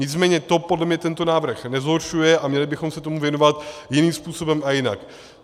Nicméně to podle mě tento návrh nezhoršuje a měli bychom se tomu věnovat jiným způsobem a jinak.